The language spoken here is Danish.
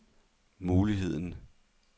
muligheden